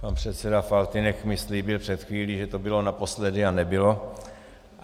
Pan předseda Faltýnek mi slíbil před chvílí, že to bylo naposledy, a nebylo.